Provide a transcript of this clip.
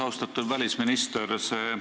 Austatud välisminister!